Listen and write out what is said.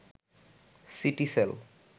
Citycell